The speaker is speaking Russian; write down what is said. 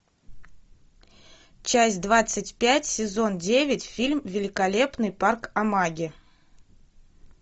часть двадцать пять сезон девять фильм великолепный парк амаги